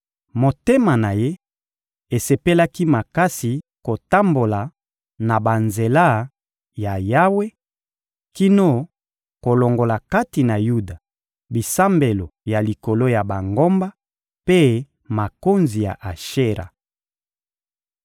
Motema na ye esepelaki makasi kotambola na banzela ya Yawe kino kolongola kati na Yuda bisambelo ya likolo ya bangomba mpe makonzi ya Ashera.